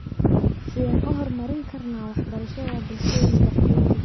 Sideen u hormarin karnaa waxbarashada bulshooyinka qaxootiga?